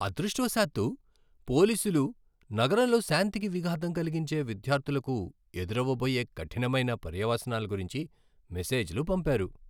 అదృష్టవశాత్తూ, పోలీసులు నగరంలో శాంతికి విఘాతం కలిగించే విద్యార్థులకు ఎదురవబోయే కఠినమైన పర్యవసానాల గురించి మెసేజ్లు పంపారు.